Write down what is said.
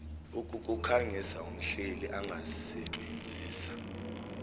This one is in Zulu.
ukukukhangisa umhleli angasebenzisa